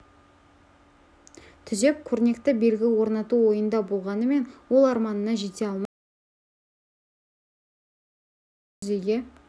түзеп көрнекті белгі орнату ойында болғанымен ол арманына жете алмай кеткен ауыл ақсақалының аманатын жүзеге